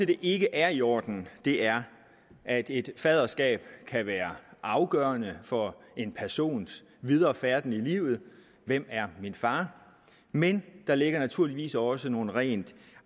det ikke er i orden er at et faderskab kan være afgørende for en persons videre færden i livet hvem er min far men der ligger naturligvis også nogle rent